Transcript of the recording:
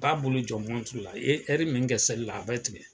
A b'a bolo jɔ la i ye min kɛ seli la, a b'a tigɛ